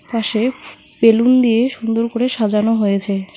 পাশে বেলুন দিয়ে সুন্দর করে সাজানো হয়েছে।